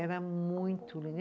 Era muito